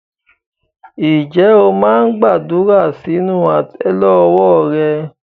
Ǹjẹ́ o máa ń gbàdúrà sínú àtẹ́lẹwọ́ rẹ?